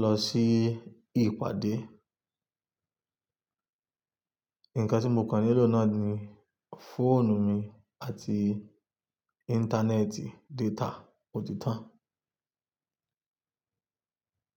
lọ sí ìpàdé. Ǹkan tí mo kan nílò náà ni fóònù mi àti íńtánẹ́ẹ̀tì data òtítọ́